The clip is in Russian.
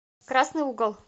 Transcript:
красный угол